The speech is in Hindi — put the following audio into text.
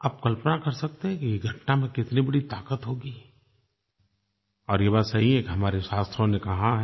आप कल्पना कर सकते हैं कि इस घटना में कितनी बड़ी ताक़त होगी और ये बात सही है कि हमारे शास्त्रों ने कहा है